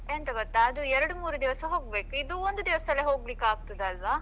ಎಂತ ಗೊತ್ತಾ ಅದು ಎರಡ್ ಮೂರ್ ದಿವಸ ಹೋಗ್ಬೇಕು ಇದು ಒಂದೇ ದಿವಸದಲ್ಲೇ ಹೋಗ್ಲಿಕ್ಕೆ ಆಗ್ತಾದಲ್ಲ.